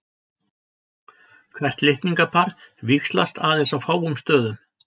Hvert litningapar víxlast aðeins á fáum stöðum.